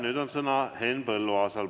Nüüd on sõna Henn Põlluaasal.